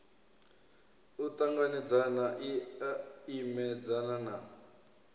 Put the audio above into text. u ṱanganedzana i imedzana na